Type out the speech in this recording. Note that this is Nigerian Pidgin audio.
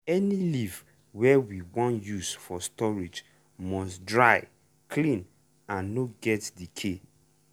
any leaf wey you wan use for storage must dry clean and no get decay.